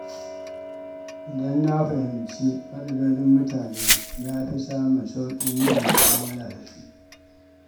Idan na fahimci matsalolin mutane, na fi samun sauƙin yin mu’amala da su.